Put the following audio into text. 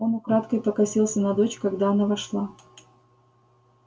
он украдкой покосился на дочь когда она вошла